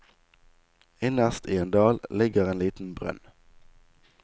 Innerst i en dal ligger en liten brønn.